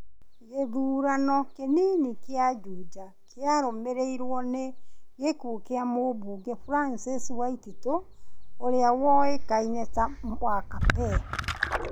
Gĩthurano kĩnini kĩa Juja kĩarũmĩrĩirũo nĩ gĩkũo kĩa mũmbunge Francis Waititũ ũria wũĩkaine ta Wakapee ,